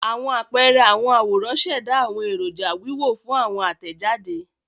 Awọn apẹẹrẹ awọn aworan ṣẹda awọn eroja wiwo fun awọn atẹjade.